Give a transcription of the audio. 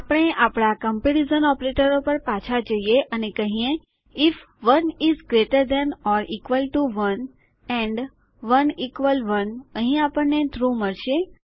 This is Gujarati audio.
આપણે આપણા કમ્પેરીઝન ઓપરેટરો પર પાછા જઈએ અને કહીએ IF 1 is greater than or equal to 1 and 1 equal 1 અહીં આપણને ટ્રૂ મળશે